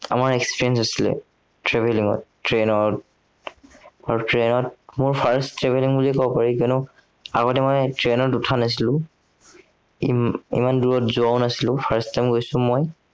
আমাৰ experience হৈছিলে travelling ত, train ত আহ train ত মোৰ first travelling বুলিয়েই কব পাৰি, কিয়নো আগতে মই train ত উঠা নাছিলো। হম ইমান দূৰত যোৱাও নাছিলো first time মই।